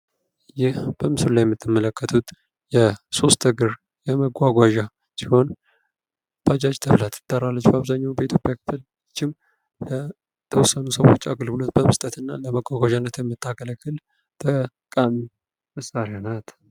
ይህ በምስሉ ላይ የምትመለከቱት ሶስት እግር የመጓጓዣ አይነት ሲሆን "ባጃጅ" ተብላ ትጠራለች። በአብዛኛዉ በኢትዮጵያ ክፍሎችም በተወስኑ ሰዎች አገልግሎት በመስጠትና በመጓጓዣነት ይምታገለግል ጠቃሚ መሳሪያ ናት።